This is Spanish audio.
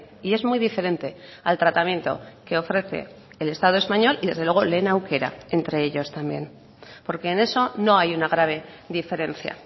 y es muy diferente al tratamiento que ofrece el estado español y desde luego lehen aukera entre ellos también porque en eso no hay una grave diferencia